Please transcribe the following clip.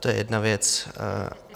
To je jedna věc.